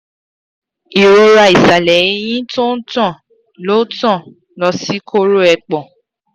irora isale eyin to n tan lo tan lo si koro epon